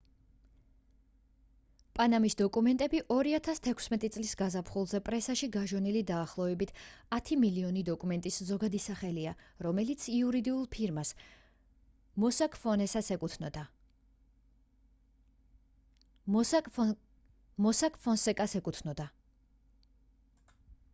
პანამის დოკუმენტები 2016 წლის გაზაფხულზე პრესაში გაჟონილი დაახლოებით ათი მილიონი დოკუმენტის ზოგადი სახელია რომელიც იურიდიულ ფირმას mossack fonseca-ს ეკუთვნოდა